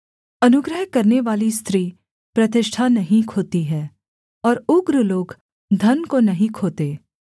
अनुग्रह करनेवाली स्त्री प्रतिष्ठा नहीं खोती है और उग्र लोग धन को नहीं खोते